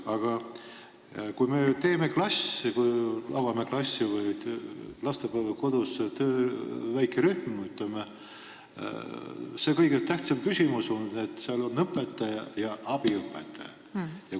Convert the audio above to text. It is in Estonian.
Aga kui me avame klassi või lastepäevakodus väikerühma, siis on kõige tähtsam küsimus see, et seal oleks õpetaja ja abiõpetaja.